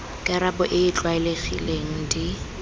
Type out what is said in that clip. karabo e e tlwaelegileng di